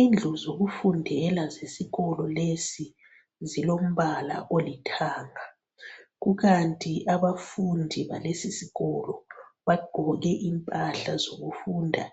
Indlu zokufundela zesikolo lesi zilombala olithanga kukanti abafundi balesi sikolo bagqoke impahla zokufunda